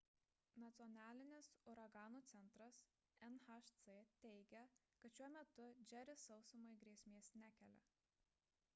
nacionalinis uraganų centras nhc teigia kad šiuo metu džeris sausumai grėsmės nekelia